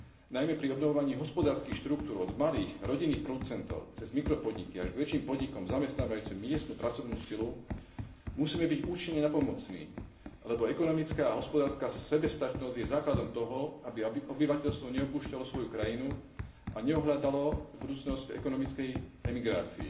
Najmä pri obnovovaní hospodárskych štruktúr od malých rodinných producentov cez mikropodniky až k väčším podnikom zamestnávajúcim miestnu pracovnú silu musíme byť účinne nápomocní, lebo ekonomická a hospodárska sebestačnosť je základom toho, aby obyvateľstvo neopúšťalo svoju krajinu a nehľadalo budúcnosť v ekonomickej emigrácii.